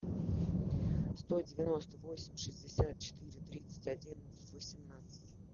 сто девяносто восемь шестьдесят четыре тридцать один восемнадцать